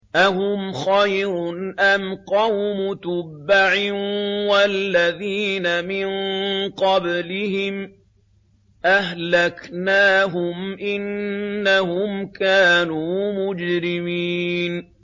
أَهُمْ خَيْرٌ أَمْ قَوْمُ تُبَّعٍ وَالَّذِينَ مِن قَبْلِهِمْ ۚ أَهْلَكْنَاهُمْ ۖ إِنَّهُمْ كَانُوا مُجْرِمِينَ